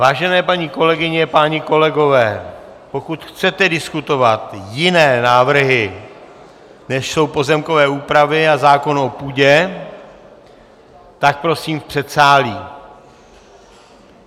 Vážené paní kolegyně, páni kolegové, pokud chcete diskutovat jiné návrhy, než jsou pozemkové úpravy a zákon o půdě, tak prosím v předsálí.